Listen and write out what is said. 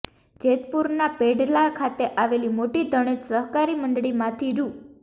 જેતપુરના પેઢલા ખાતે આવેલી મોટી ધણેજ સહકારી મંડળીમાંથી રૂ